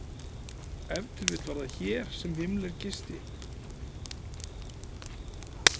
Ef til vill var það hér sem Himmler gisti.